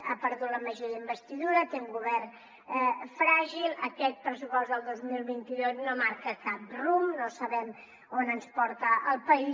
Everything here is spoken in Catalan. ha perdut la majoria d’investidura té un govern fràgil aquest pressupost del dos mil vint dos no marca cap rumb no sabem on ens porta el país